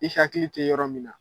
I hakili te yɔrɔ min na